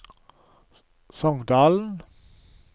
Songdalen